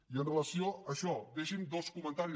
i amb relació a això deixi’m fer dos comentaris